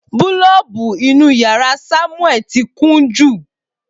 Boolubu inu yara Samueli ti kun jú